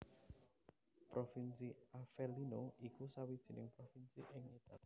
Provinsi Avellino iku sawijining provinsi ing Italia